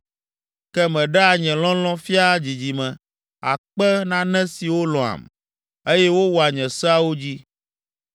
Ke meɖea nye lɔlɔ̃ fiaa dzidzime akpe nane siwo lɔ̃am, eye wowɔa nye seawo dzi.